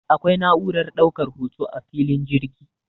akwai na'urar daukar hoto a filin jirgi